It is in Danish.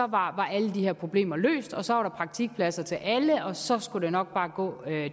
var alle de her problemer løst og så var der praktikpladser til alle og så skulle det nok bare gå